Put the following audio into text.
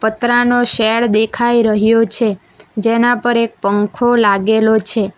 પતરાનો shed દેખાઈ રહ્યો છે જેના પર એક પંખો લાગેલો છે.